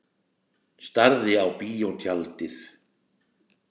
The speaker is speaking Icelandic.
Starði á bíótjaldið.